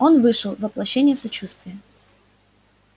он вышел воплощение сочувствия